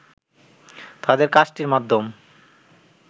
তাদের কাজটির মাধ্যম